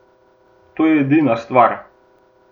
A to je edina stvar!